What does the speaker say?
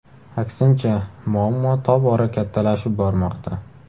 Aksincha, muammo tobora kattalashib bormoqda.